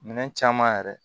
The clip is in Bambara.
Minɛn caman yɛrɛ